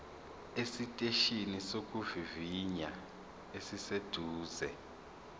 esiteshini sokuvivinya esiseduze